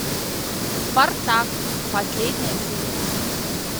спартак последняя серия